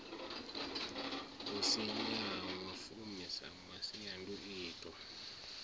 si ṅwahafumi sa masiandoitwa a